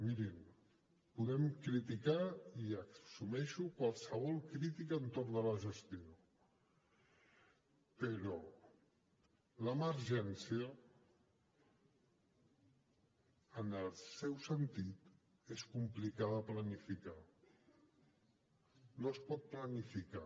mirin ho podem criticar i assumeixo qualsevol crítica entorn de la gestió però l’emergència en el seu sentit és complicada de planificar no es pot planificar